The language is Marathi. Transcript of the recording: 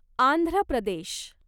आंध्र प्रदेश